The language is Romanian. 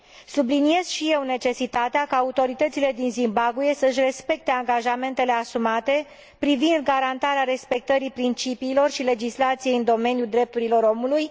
Subliniez și eu necesitatea ca autoritățile din Zimbabwe să și respecte angajamentele asumate privind garantarea respectării principiilor și legislației în domeniul drepturilor omului.